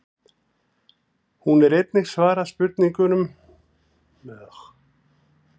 Hér er einnig svarað spurningunum: Hvenær er Jörundur hundadagakonungur fæddur?